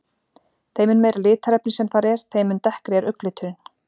Þeim mun meira litarefni sem þar er, þeim mun dekkri er augnliturinn.